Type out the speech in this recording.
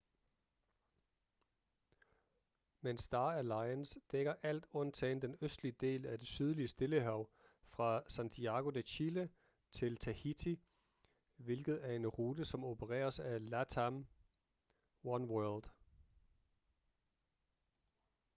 men star alliance dækker alt undtagen den østlige del af det sydlige stillehav fra santiago de chile til tahiti hvilket er en rute som opereres af latam oneworld